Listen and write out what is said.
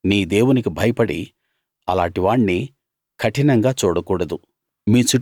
నీ దేవునికి భయపడి అలాటి వాణ్ణి కఠినంగా చూడకూడదు